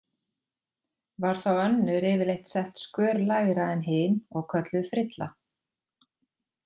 Var þá önnur yfirleitt sett skör lægra en hin og kölluð frilla.